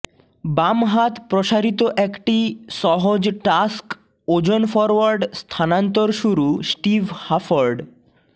বাম হাত প্রসারিত একটি সহজ টাস্ক ওজন ফরোয়ার্ড স্থানান্তর শুরু স্টিভ হাফর্ড